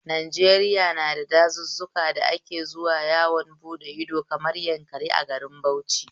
Najeriya na da gandun dazuzzuka da ake zuwa yawon bude ido, kamar Yankari a garin Bauchio